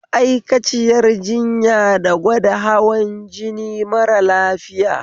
Ma'aikaciyar jinya da gwada hawan jini mara lafiya